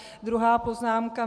Druhá poznámka.